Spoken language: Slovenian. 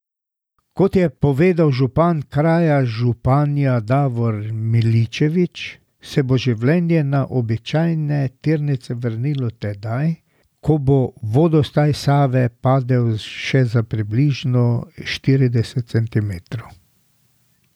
Kot je povedal župan kraja Županja Davor Miličević, se bo življenje na običajne tirnice vrnilo tedaj, ko bo vodostaj Save padel še za približno štirideset centimetrov.